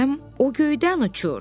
o göydən uçur.